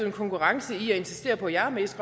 en konkurrence i at insistere på jeg er mest